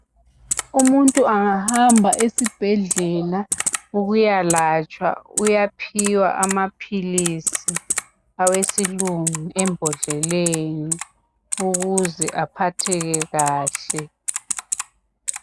Umuntu angahamba esibhedlela ukuyalatshwa uyaphiwa amaphilisi awesilungu embodleleni ukuze aphatheke kahle